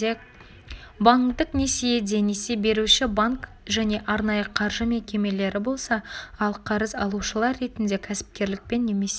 банктік несиеде несие беруші банк және арнайы қаржы мекемелері болса ал қарыз алушылар ретінде кәсіпкерлікпен немесе